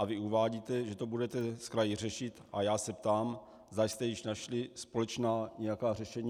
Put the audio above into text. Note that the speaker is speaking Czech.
A vy uvádíte, že to budete s kraji řešit, a já se ptám, zda jste již našli společná nějaká řešení.